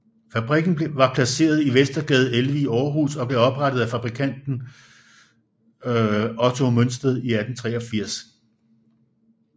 Fabrikken var placeret i Vestergade 11 i Aarhus og blev oprettet af fabrikanten Otto Mønsted i 1883